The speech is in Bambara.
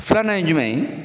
Filanan ye jumɛn ye